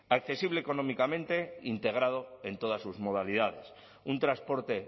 accesible económicamente integrado en todas sus modalidades un transporte